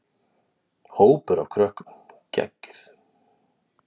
Hópur af krökkum: Geggjuð.